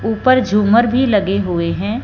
ऊपर झूमर भी लगे हुए हैं।